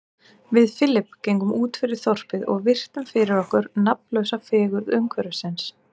Við Philip gengum útfyrir þorpið og virtum fyrir okkur nafnlausa fegurð umhverfisins.